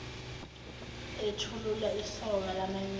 ethulula isoka lamanyala